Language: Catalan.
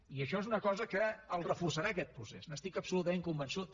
i això és una cosa que el reforçarà aquest procés n’estic absolutament convençut